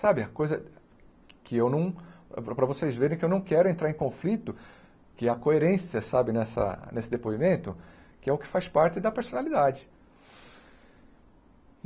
Sabe, a coisa que eu não... para para vocês verem que eu não quero entrar em conflito, que há coerência, sabe, nessa nesse depoimento, que é o que faz parte da personalidade.